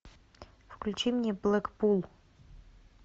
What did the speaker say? включи мне блэкпул